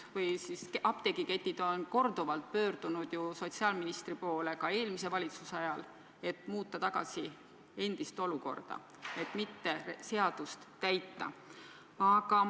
Tõepoolest, apteegiketid on korduvalt pöördunud sotsiaalministri poole, nad tegid seda ka eelmise valitsuse ajal, et muuta olukorda tagasi ja mitte seadust täita.